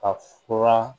Ka furan